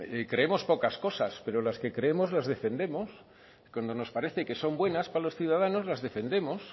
creemos pocas cosas pero las que creemos las defendemos cuando nos parece que son buenas para los ciudadanos las defendemos